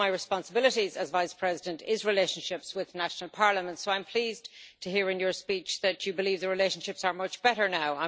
One of my responsibilities as Vice President is relationships with national parliaments so I'm pleased to hear in your speech that you believe the relationships are much better now.